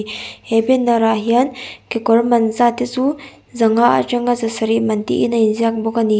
he banner ah hian kekawr man zat te chu zanga atanga zasarih man tiin a inziak bawk a ni.